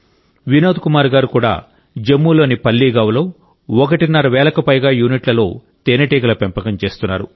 వినోద్ కుమార్ గారు కూడా జమ్మూలోని పల్లీ గావ్ లో ఒకటిన్నర వేలకు పైగా యూనిట్లలో తేనెటీగల పెంపకం చేస్తున్నారు